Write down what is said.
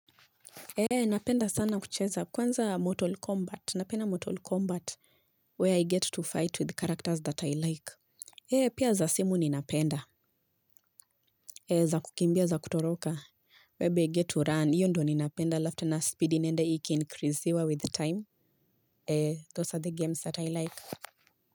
Napenda sana kucheza kwanza Mortal Kombat napenda Mortal Kombat where I get to fight with characters that I like pia za simu ninapenda za kukimbia za kutoroka whereby I get to run hiyo ndiyo ninapenda halafu tena speed inaenda iki increasiwa with time those are the games that I like.